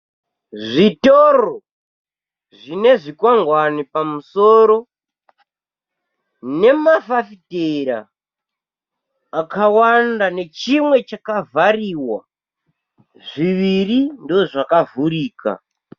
Zvitoro zvinezvikwangwani pamusoro, nemafafitera akawanda nechimwe chakavhariwa, zviviri ndoozvakavhurika.